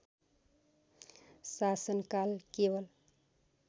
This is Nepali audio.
शासनकाल केवल